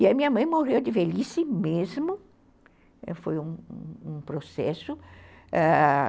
E aí minha mãe morreu de velhice mesmo, foi um processo, ãh